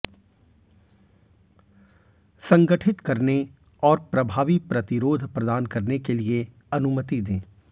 संगठित करने और प्रभावी प्रतिरोध प्रदान करने के लिए अनुमति दें